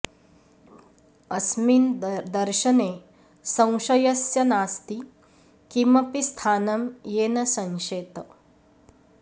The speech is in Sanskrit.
अस्मिन् दर्शने संशयस्य नास्ति किमपि स्थानं येन संशेत